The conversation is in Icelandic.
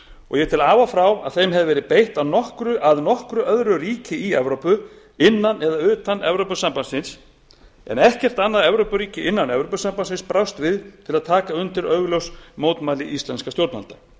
og ég tel af og frá að þeim hafi verið beitt af nokkru öðru ríki í evrópu innan eða utan evrópusambandsins en ekkert annað evrópuríki innan evrópusambandsins brást við til að taka undir augljós mótmæli íslenskra stjórnvalda